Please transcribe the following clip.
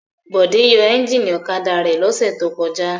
Bọ̀dé yóò ẹ́ńjínì ọ̀kadà rẹ̀ lọ́sẹ̀ tó kọjá.